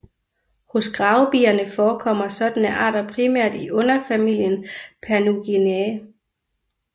Hos gravebierne forekommer sådanne arter primært i underfamilien Panurginae